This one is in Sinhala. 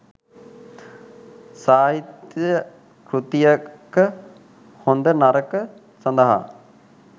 සාහිත්‍ය කෘතියක හොඳ නරක සඳහා